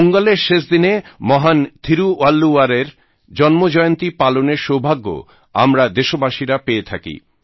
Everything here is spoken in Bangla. পোঙ্গালের শেষ দিনে মহান থীরুবল্লুবরের জন্মজয়ন্তী পালনের সৌভাগ্য আমরা দেশবাসীরা পেয়ে থাকি